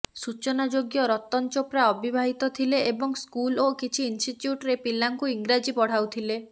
ସୂଚନାଯୋଗ୍ୟ ରତନ ଚୋପ୍ରା ଅବିବାହିତ ଥିଲେ ଏବଂ ସ୍କୁଲ ଓ କିଛି ଇନଷ୍ଟିଟ୍ୟୁଟ୍ରେ ପିଲାଙ୍କୁ ଇଂରାଜୀ ପଢ଼ାଉଥିଲେ